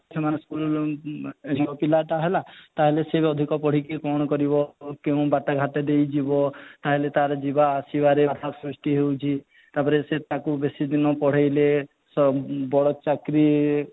ସେମାନେ school ଏବଂ ପିଲାଟା ହେଲା ତାହେଲେ ସେ ଅଧିକ ପଢିକି କ'ଣ କରିବ କେଉଁ ବାଟ ଘାଟ ଦେଇ ଯିବ ତାହେଲେ ତାର ଯିବା ଆସିବାରେ ବାଧା ସୃଷ୍ଟି ହେଉଛି ତା'ପରେ ତାକୁ ବେସି ଦିନ ପଢ଼େଇଲେ ସେ ବଡ ଚାକିରୀ